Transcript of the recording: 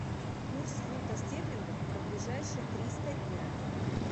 курс фунта стерлингов на ближайшие триста дня